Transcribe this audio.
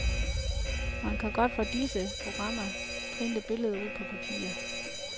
Man kan godt fra disse programmer printe billeder ud på papir.